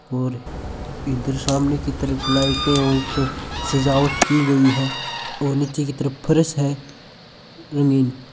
और इधर सामने की तरफ लाइटे और ऊपर सजावट की गई है ओर नीचे की तरफ फर्श है रंगीन।